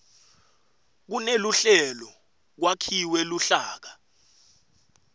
kuneluhlelo kwakhiwe luhlaka